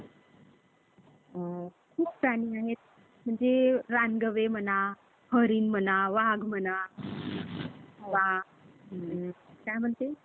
खूप प्राणी आहेत. म्हणजे रान गवे म्हणा, हरीण म्हणा, वाघ म्हणा आणि काय म्हणते